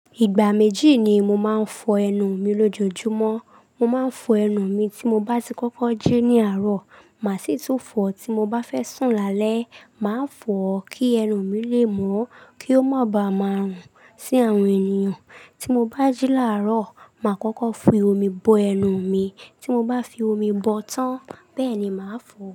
Ìgbà méjì ni mo máa ń fọ ẹnu mi lójoojúmọ́. Mo máa ń fọ ẹnu mi tí mo bá ti kọ́kọ́ jí ní àárọ̀, màá sì tún fọ tí mo bá fẹ́ sùn lálẹ́. Màá fọ ó kí ẹnu mi lè mọ́, kí ó má ba à máa rùn sí àwọn ènìyàn. Tí mo bá jí láàárọ̀, màá kọ́kọ́ fi omi bo ẹnu mi, tí mo bá fi omi bọ ọ́ tán, bẹ́ẹ̀ ni màá fọ ó.